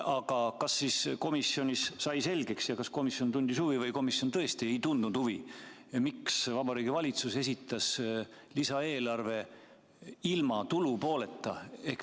Aga kas komisjonis sai selgeks ja kas komisjon tundis huvi või komisjon tõesti ei tundnud huvi, miks Vabariigi Valitsus esitas lisaeelarve ilma tulupooleta?